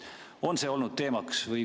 On see olnud teemaks?